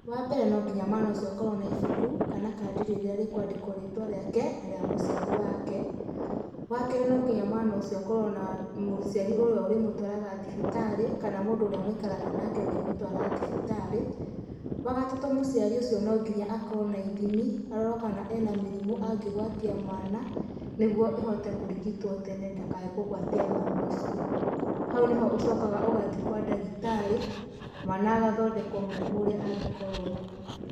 Wambeere no ngĩnya mwana ũcĩo akorwo na ĩbũkũ kana kadĩ rĩrĩa rĩ kwandĩkwo rĩtwa rĩake na rĩ mũcĩarĩ wake, wa kerĩ no ngĩnya mwana ũcĩo akorwo na mũcĩarĩ ũrĩa ũrĩmũtwaragwa thĩbĩtarĩ kana mũndũ ũrĩa maĩkaraga nake ũngĩmũtwara thĩbĩtarĩ, wa gatatũ mũcĩarĩ ũcĩo no ngĩnya akorwo na ĩthĩmĩ arorwo kana ĩna mĩrĩmũ agĩgwatĩa mwana nĩ getha ĩhote kũrĩgĩtwo tene ndakae kũgwatĩa mwana ũcĩo haũ nĩho ũcokaga ũgathĩe kwa ndagĩtarĩ mwana agathondekwa mũrĩmũ ũrĩa angĩkorwa nagũo.